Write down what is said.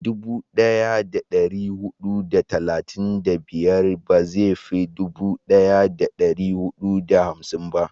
dubu daya da dari hudu da talatin da biyar ba zai fi dubu daya da dari hudu da hamsin ba